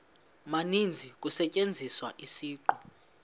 maninzi kusetyenziswa isiqu